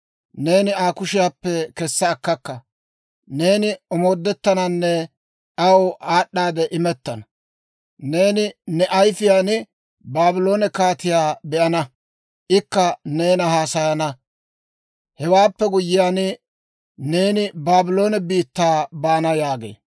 Neeni Aa kushiyaappe kessa akkakka; neeni omoodettananne aw aad'd'a imettana. Neeni ne ayifiyaan Baabloone kaatiyaa be'ana; ikka neenana haasayana. Hewaappe guyyiyaan, neeni Baabloone biittaa baana yaagee.